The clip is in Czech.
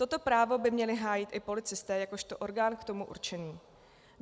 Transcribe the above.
Toto právo by měli hájit i policisté jakožto orgán k tomu určený.